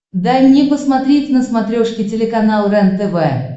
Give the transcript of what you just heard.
дай мне посмотреть на смотрешке телеканал рентв